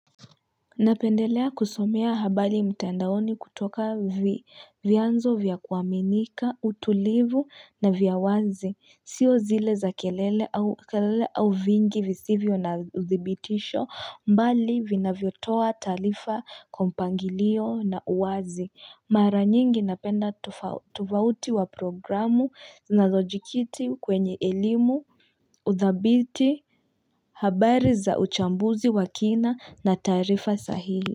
Napendelea kusomea habari mtandaoni kutoka vyanzo vya kuaminika, utulivu na vya wazi, sio zile za kelele au vingi visivyo na uthibitisho bali vinavyotoa taarifa kwa mpangilio na uwazi. Mara nyingi napenda tofauti wa programu nazo jikiti kwenye elimu, udhabiti, habari za uchambuzi wa kina na taarifa sahili.